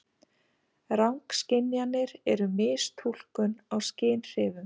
Rangskynjanir eru mistúlkun á skynhrifum.